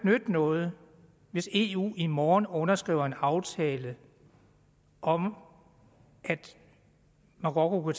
nytte noget hvis eu i morgen underskriver en aftale om at marokko kunne